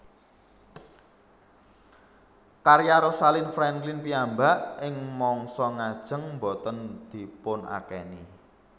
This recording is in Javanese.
Karya Rosalind Franklin piyambak ing mangsa ngajeng boten dipunakeni